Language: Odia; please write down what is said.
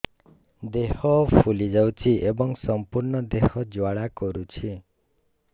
ଦେହ ଫୁଲି ଯାଉଛି ଏବଂ ସମ୍ପୂର୍ଣ୍ଣ ଦେହ ଜ୍ୱାଳା କରୁଛି